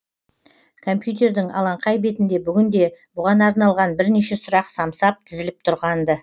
компьютердің алаңқай бетінде бүгін де бұған арналған бірнеше сұрақ самсап тізіліп тұрған ды